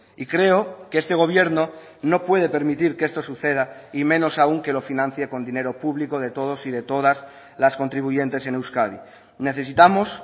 y creo que este gobierno no puede permitir que esto suceda y menos aún que lo financie con dinero público de todos y de todas las contribuyentes en euskadi necesitamos